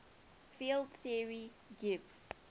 field theory gives